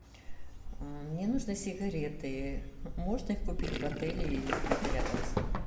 мне нужны сигареты можно их купить в отеле или где то рядом с ним